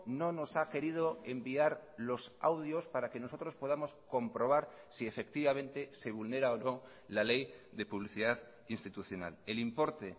no nos ha querido enviar los audios para que nosotros podamos comprobar si efectivamente se vulnera o no la ley de publicidad institucional el importe